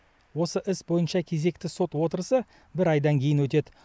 осы іс бойынша кезекті сот отырысы бір айдан кейін өтеді